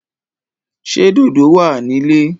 Ṣé dòdò wà ní ilé?